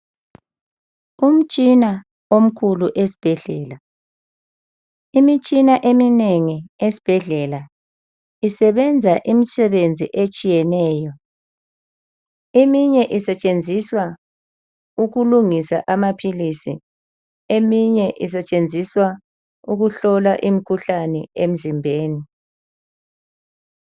Umtshina omkhulu esibhedlela, imitshina eminengi esibhedlela isebenza imisebenzi etshiyeneyo eminye isetshenziswa ukulungisa amaphilisi eminye isetshenziswa ukuhlola imikhuhlane emzimbeni.